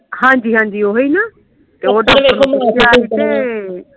ਹਾਂਜੀ ਹਾਂਜੀ ਓਹੀ ਨਾ